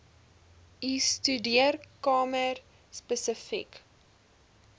u studeerkamer spesifiek